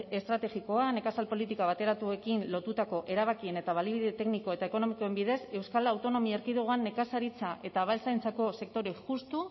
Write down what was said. estrategikoa nekazal politika bateratuekin lotutako erabakien eta baliabide tekniko eta ekonomikoen bidez euskal autonomia erkidegoan nekazaritza eta abeltzaintzako sektore justu